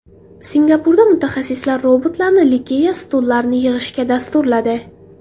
Singapurda mutaxassislar robotlarni Ikea stullarini yig‘ishga dasturladi.